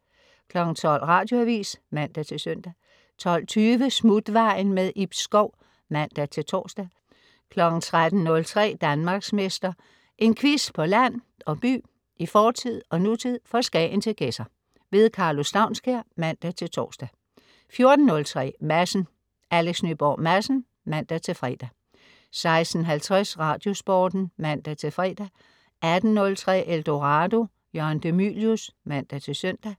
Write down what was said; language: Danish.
12.00 Radioavis (man-søn) 12.20 Smutvejen. Ib Schou (man-tors) 13.03 Danmarksmester. En quiz på land og by, i fortid og nutid, fra Skagen til Gedser. Karlo Staunskær (man-tors) 14.03 Madsen. Alex Nyborg Madsen (man-fre) 16.50 Radiosporten (man-fre) 18.03 Eldorado. Jørgen de Mylius (man-søn)